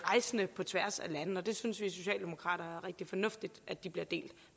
rejsende på tværs af landene og det synes vi socialdemokrater er rigtig fornuftigt at de bliver delt